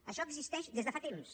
això existeix des de fa temps